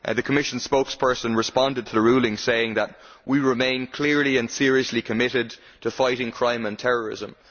The Commission's spokesperson responded to the ruling saying that we remain clearly and seriously committed to fighting crime and terrorism'.